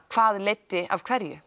hvað leiddi af hverju